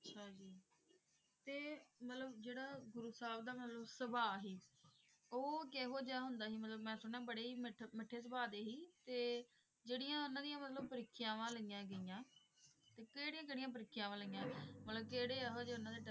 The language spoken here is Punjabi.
ਗੁਰੂ ਸਾਹਿਬ ਦਾ ਮਤਲਬ ਸੁਭਾਅ ਹੀ ਉਹ ਕਿਹੋ ਜਿਹਾ ਹੁੰਦਾ ਸੀ ਮਤਲਬ ਮੈਂ ਸੁਣਿਆ ਬੜੇ ਹੀ ਮਿੱਠ ਮਿੱਠੇ ਸੁਭਾਅ ਦੇ ਸੀ ਤੇ ਜਿਹੜੀਆਂ ਉਹਨਾਂ ਦੀਆਂ ਮਤਲਬ ਪ੍ਰੀਖਿਆਵਾਂ ਲਈਆਂ ਗਈਆਂ ਤੇ ਕਿਹੜੀਆਂ ਕਿਹੜੀਆਂ ਪ੍ਰੀਖਿਆਵਾਂ ਲਈਆਂ ਮਤਲਬ ਕਿਹੜੇ ਇਹੋ ਜਿਹੇ ਉਹਨਾਂ ਦੇ,